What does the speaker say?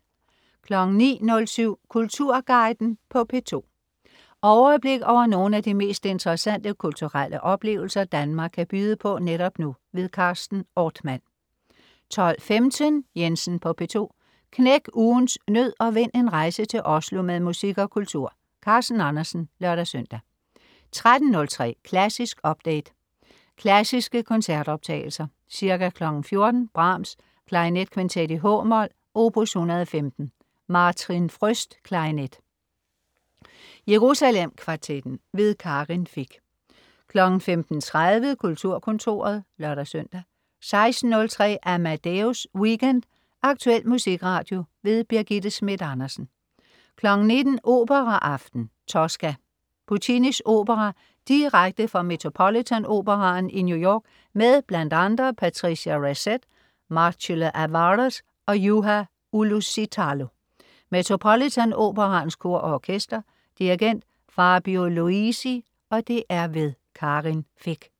09.07 Kulturguiden på P2. Overblik over nogle af de mest interessante kulturelle oplevelser, Danmark kan byde på netop nu. Carsten Ortmann 12.15 Jensen på P2. Knæk ugens nød og vind en rejse til Oslo med musik og kultur. Carsten Andersen (lør-søn) 13.03 Klassisk update. Klassiske koncertoptagelser. Ca. 14.00 Brahms: Klarinetkvintet, h-mol, opus 115. Martin Fröst, klarinet. Jerusalem Kvartetten. Karin Fich 15.30 Kulturkontoret (lør-søn) 16.03 Amadeus Weekend. Aktuel musikradio. Birgitte Schmidt Andersen 19.00 Operaaften. Tosca. Puccinis opera direkte fra Metropolitan Operaen i New York med bl.a. Patricia Racette, Marcelo Alvarez og Juha Uusitalo. Metropolitan Operaens Kor og Orkester. Dirigent: Fabio Luisi. Karin Fich